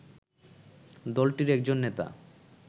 দলটির একজন নেতা